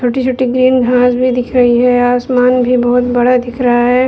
छोटी-छोटी ग्रीन घास भी दिख रही है | आसमान भी बहुत बड़ा दिख रहा है|